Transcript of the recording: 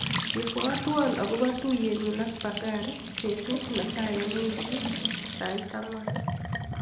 Ibwatwa akobo tuiyenyu ak Bakari betut netai eng wikit sait ang'wan.